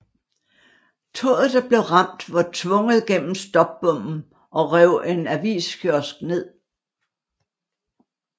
Toget der blev ramt var tvunget gennem stopbommen og rev en aviskiosk ned